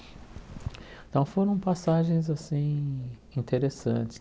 Então foram passagens, assim, interessantes.